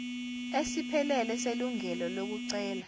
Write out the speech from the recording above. esiphelele selungelo lokucela